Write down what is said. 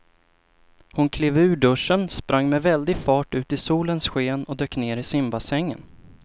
Hon klev ur duschen, sprang med väldig fart ut i solens sken och dök ner i simbassängen.